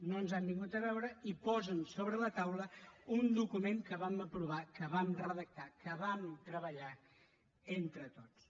no ens han vingut a veure i posen sobre la taula un document que vam aprovar que vam redactar que vam treballar entre tots